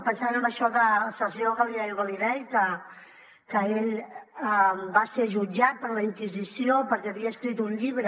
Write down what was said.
pensant en això del senyor galileo galilei que ell va ser jutjat per la inquisició perquè havia escrit un llibre